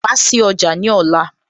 Wá sí ọjà ní ọ̀la